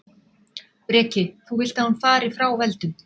Breki: Þú vilt að hún fari frá völdum?